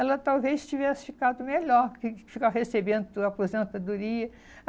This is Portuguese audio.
Ela talvez tivesse ficado melhor que ficar recebendo a aposentadoria.